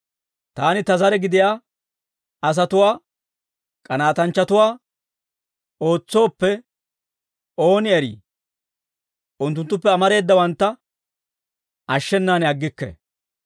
Taani ta zare gidiyaa asatuwaa k'anaatanchchatuwaa ootsooppe, ooni eri unttunttuppe amareedawantta ashshenaan aggikke.